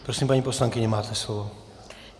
Prosím, paní poslankyně, máte slovo.